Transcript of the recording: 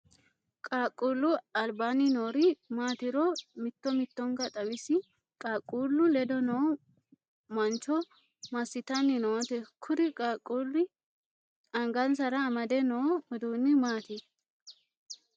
Qaaqquulu albaanni noori maatiru mitto mittonka xawisi? Qaaqquulu ledo noo mancho masitanni noote? Kuri qaaqquuli angansara amade noo uduunni? Maati?